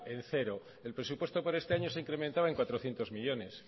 en cero el presupuesto por este año se ha incrementado el cuatrocientos millónes